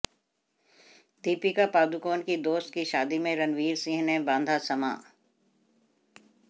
दीपिका पादुकोण की दोस्त की शादी में रणवीर सिंह ने बांधा समां